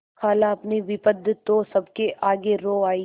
खालाअपनी विपद तो सबके आगे रो आयी